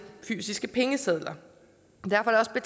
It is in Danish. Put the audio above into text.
fysiske pengesedler og derfor er